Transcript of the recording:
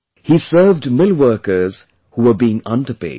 He served millworkers who were being underpaid